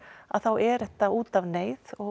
að þá er þetta út af neyð og